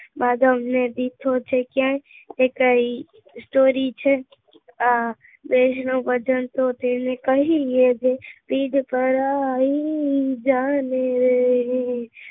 માધવ ને દીઠો છે ક્યાંય કે કઈ story છે વૈષ્ણવજન તો એને કહીયે રે પીર પરાઈ જાણે રે